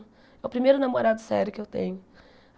É o primeiro namorado sério que eu tenho.